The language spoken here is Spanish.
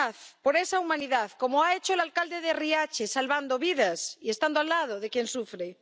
humanidad, por esa humanidad, como ha hecho el alcalde de Riace, salvando vidas y estando al lado de quien sufre.